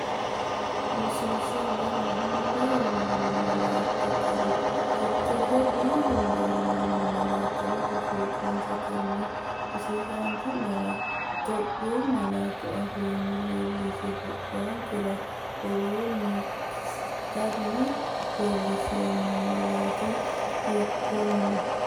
Rosiishsha Lame hunda uyinoonni malaattara gari tittirsha“B”hunda uyinoonni laatta ledo Fiixoonsatenni rosiisaanchi’nera Itophiyu malaatu afiinni leellishshe, boqonkera woroonni kisiisatenni leellinsheemmo malaati hiikkon?